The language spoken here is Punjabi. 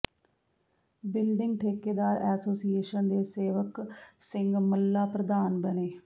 ਬਿਲਡਿੰਗ ਠੇਕੇਦਾਰ ਐਸੋਸੀਏਸ਼ਨ ਦੇ ਸੇਵਕ ਸਿੰਘ ਮੱਲ੍ਹਾ ਪ੍ਰਧਾਨ ਬਣੇ